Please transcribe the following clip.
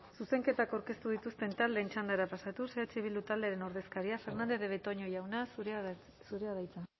zuzenketak aurkeztu dituzten taldeen txandara pasatuz eh bildu taldearen ordezkaria fernandez de betoño jauna zurea da hitza